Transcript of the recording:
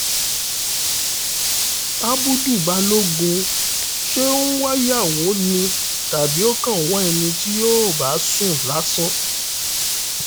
àbùdù-bálògun ń wáyàwó ni àbí ó kàn ń wá ẹni tí yóò bá sùn lásán